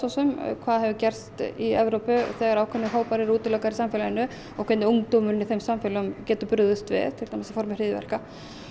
hvað hefur gerst í Evrópu þegar ákveðnir hópar eru útilokaðir í samfélaginu og hvernig ungdómurinn í samfélaginu bregst við til dæmis í formi hryðjuverka